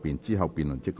之後辯論即告結束。